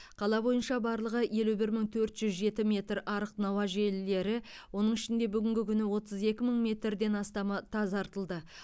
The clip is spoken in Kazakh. қала бойынша барлығы елу бір мың төрт жүз жеті метр арық науа желілері оның ішінде бүгінгі күні отыз екі мың метрден астамы тазартылды